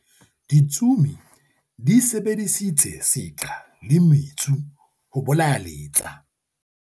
ditsomi di sebedisitse seqha le metsu ho bolaya letsa